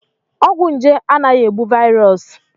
Ọgwụ nje anaghị egbu vaịrọs.